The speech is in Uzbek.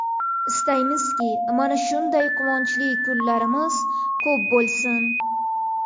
Istaymizki, mana shunday quvonchli kunlarimiz ko‘p bo‘lsin!